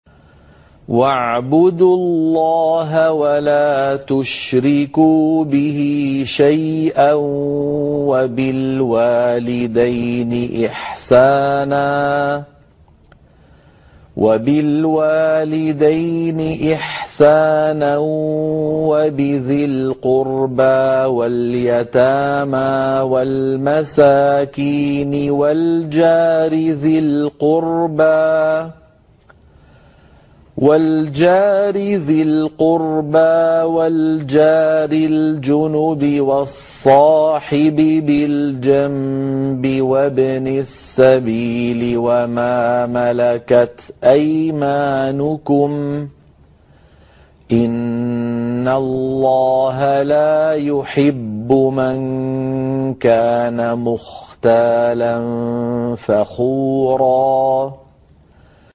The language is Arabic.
۞ وَاعْبُدُوا اللَّهَ وَلَا تُشْرِكُوا بِهِ شَيْئًا ۖ وَبِالْوَالِدَيْنِ إِحْسَانًا وَبِذِي الْقُرْبَىٰ وَالْيَتَامَىٰ وَالْمَسَاكِينِ وَالْجَارِ ذِي الْقُرْبَىٰ وَالْجَارِ الْجُنُبِ وَالصَّاحِبِ بِالْجَنبِ وَابْنِ السَّبِيلِ وَمَا مَلَكَتْ أَيْمَانُكُمْ ۗ إِنَّ اللَّهَ لَا يُحِبُّ مَن كَانَ مُخْتَالًا فَخُورًا